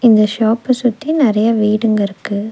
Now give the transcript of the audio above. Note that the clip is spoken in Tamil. இந்த ஷாப்ப சுத்தி நெரைய வீடுங்கருக்கு.